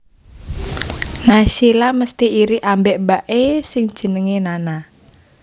Naysila mesti iri ambek mbak e sing jenenge Nana